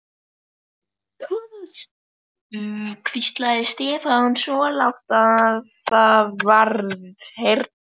Thomas hvíslaði Stefán, svo lágt að vart heyrðist.